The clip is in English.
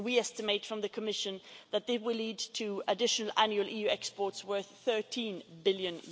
We estimate in the Commission that these will lead to additional annual EU exports worth EUR 13 billion.